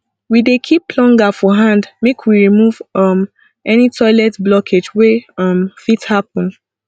we dey keep plunger for hand make we remove um any toilet blockage wey um fit happun